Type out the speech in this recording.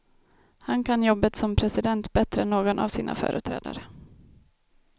Han kan jobbet som president bättre än någon av sina företrädare.